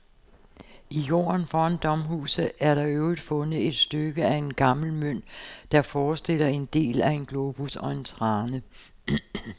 I jorden foran domhuset er der i øvrigt fundet et stykke af en gammel mønt, der forestiller en del af en globus og en trane.